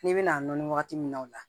N'i bɛna nɔni wagati min na o la